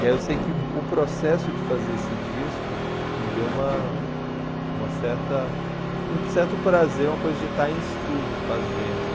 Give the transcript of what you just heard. E aí eu sei que o processo de fazer esse disco me deu uma uma certa um certo prazer, uma coisa de estar em estúdio fazendo.